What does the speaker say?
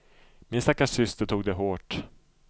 Min stackars syster tog det hårt.